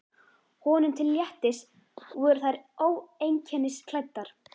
Honum til léttis voru þeir óeinkennisklæddir.